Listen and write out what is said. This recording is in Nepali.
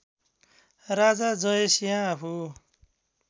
राजा जयसिंह आफू